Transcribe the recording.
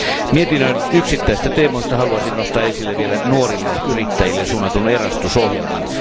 Mietinnön yksittäisistä teemoista haluaisin nostaa esille vielä nuorille yrittäjille suunnatun Erasmus ohjelman.